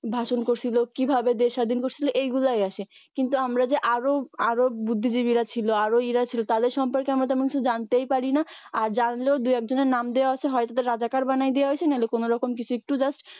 কিভাবে ভাষণ করছিল কিভাবে দেশ স্বাধিন করছিল এইগুলাই আসে কিন্তু আমরা যে আরও আরও বুদ্ধিজীবীরা ছিল আরও ইয়েরা ছিল তাদের সম্পর্কে আমরা তেমন কিছু জানতেই পারিনা আর জানলেও দু একজনের নাম দেওয়া আছে হয় তাদের রাজাকার বানায়ে দেওয়া হইছে নাহলে কোনরকম কিছু একটু just